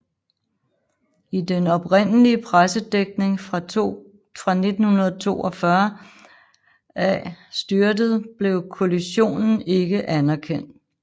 I den oprindelige pressedækning fra 1942 af styrtet blev kollisionen ikke anerkendt